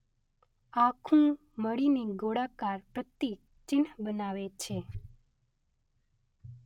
આખું મળીને ગોળાકાર પ્રતીક-ચિહ્ન બનાવે છે.